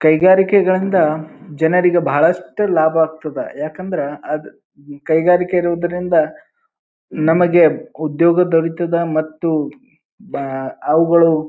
ಕೈಗಾರಿಕೆಗಳಿಂದ ಜನರಿಗ ಬಹಳಸ್ಟ ಲಾಭ ಆಗುತ್ತದ. ಯಾಕಂದ್ರ ಅದ್ ಕೈಗಾರಿಕೆ ಇರುವುದರಿಂದ ನಮಗೆ ಉದ್ಯೋಗ ದೊರಿತದ ಮತ್ತು ಬಾ ಅವುಗಳು--